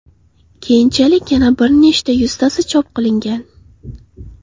Keyinchalik yana bir necha yuztasi chop qilingan.